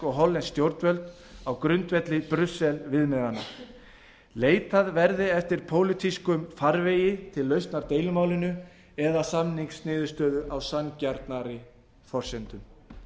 og hollensk stjórnvöld á grundvelli brussel viðmiðanna leitað verði eftir pólitískum farvegi til lausnar deilumálinu eða samningsniðurstöðu á sanngjarnari forsendum